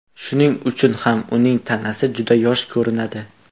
Shuning uchun ham uning tanasi juda yosh ko‘rinadi.